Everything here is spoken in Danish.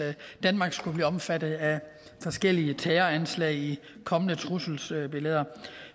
danmark skulle blive omfattet af forskellige terroranslag i kommende trusselsbilleder